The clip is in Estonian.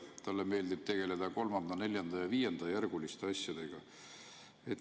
Talle meeldib tegeleda kolmanda-, neljanda- ja viiendajärguliste asjadega.